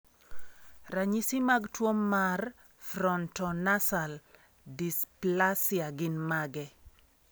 Ranyisi mag tuwo mar Frontonasal dysplasia gin mage?